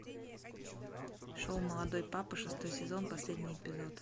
шоу молодой папа шестой сезон последний эпизод